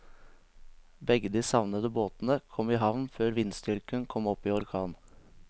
Begge de savnede båtene kom i havn før vindstyrken kom opp i orkan.